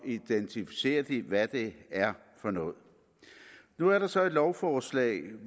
identificerer de hvad det er for noget nu er der så et lovforslag